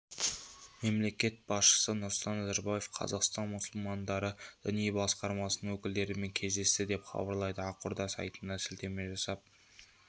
мемлекет басшысы нұрсұлтан назарбаев қазақстан мұсылмандары діни басқармасының өкілдерімен кездесті деп хабарлайды ақорда сайтына сілтеме жасап